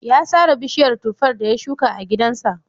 Ya sare bishiyar tuffar da ya shuka a gidansa.